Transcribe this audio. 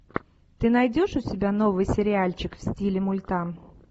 ты найдешь у себя новый сериальчик в стиле мульта